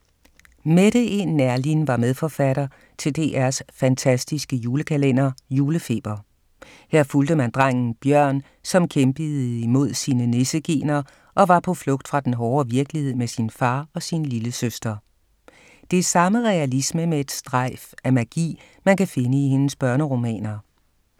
Mette E. Neerlin var medforfatter til DRs fantastiske julekalender, Julefeber. Her fulgte man drengen Bjørn, som kæmpede imod sine nisse-gener og var på flugt fra den hårde virkelighed med sin far og sin lillesøster. Det er samme realisme med et strejf af magi, man kan finde i hendes børneromaner.